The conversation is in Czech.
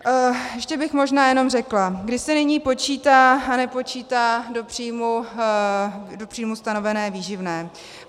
Ještě bych možná jenom řekla, kdy se nyní počítá nebo nepočítá do příjmu stanovené výživné.